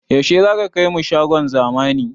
Yaushe zaka kai mu shagon zamani?